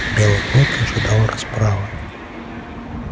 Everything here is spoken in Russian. белый клык ожидал расправы